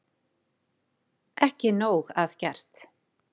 Ekki nóg að gert